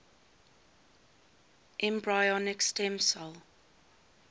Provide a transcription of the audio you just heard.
embryonic stem cell